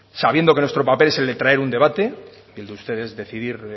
sabiendo que nuestro papel es el de traer un debate y el de ustedes decidir